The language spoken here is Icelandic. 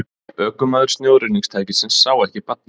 Ökumaður snjóruðningstækisins sá ekki barnið